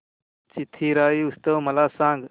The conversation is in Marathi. चिथिराई महोत्सव मला सांग